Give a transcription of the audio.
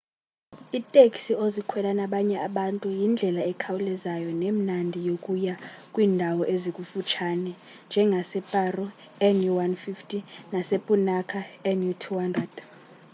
iteksi ozikhwela nabanye abantu yindlela ekhawulezayo nemnandi yokuya kwiindawo ezikufutshane njengaseparo nu150 nasepunakha nu 200